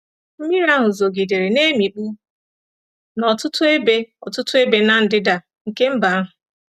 Mmiri ahụ zogidere, na-emikpu ọtụtụ ebe ọtụtụ ebe n'ndịda nke mba ahụ.